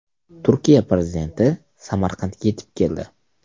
Turkiya prezidenti Samarqandga yetib keldi.